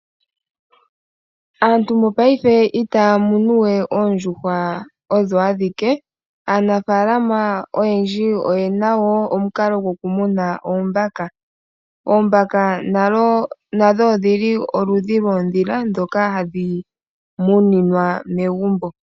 Aantu mongaashingeyi ohaya munu we oondjuhwa odho adhike . Aanafaalama oyendji oye na woo omukalo goku muna oombaka . Oombaka nadho odhili oludhi lwoondhila ndhoka hadhi muninwa megumbo.